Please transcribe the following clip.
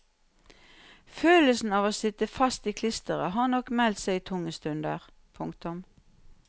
Følelsen av å sitte fast i klisteret har nok meldt seg i tunge stunder. punktum